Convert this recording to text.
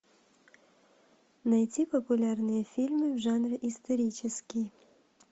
найти популярные фильмы в жанре исторический